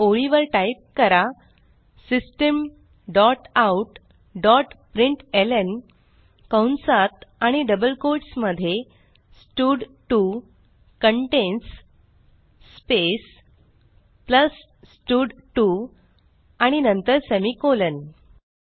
पुढील ओळीवर टाईप करा system dot out dot println कंसात आणि डबल कोट्स मध्ये स्टड2 कंटेन्स स्पेस प्लस स्टड2 आणि नंतर सेमिकोलॉन